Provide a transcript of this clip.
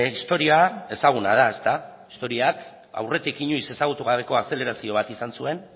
historia ezaguna da historiak aurretik inoiz ezagutu gabeko azelerazio bat izan zuen